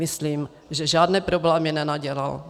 Myslím, že žádné problémy nenadělal.